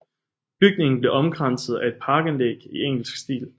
Bygningen blev omkranset af et parkanlæg i engelsk stil